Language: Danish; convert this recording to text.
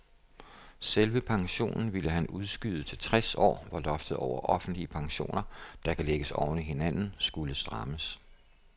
Selve pensionen ville han udskyde til tres år, hvor loftet over offentlige pensioner, der kan lægges oven i hinanden, skulle strammes.